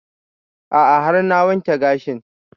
A'a har na wanke gashin